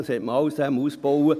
Das hat man alles ausgebaut.